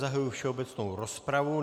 Zahajuji všeobecnou rozpravu.